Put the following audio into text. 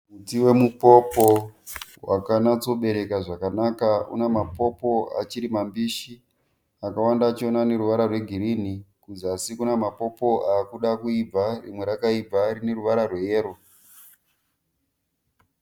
Muti wemupopo wakanyatsobereka zvakanaka. Una mapopo achiri mambishi, akawanda acho aneruvara rwegirinhi. Kuzasi kwacho kune mapopo akuda kuibva rimwe rakaibva rine ruvara reyero.